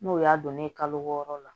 N'o y'a don ne ye kalo wɔɔrɔ la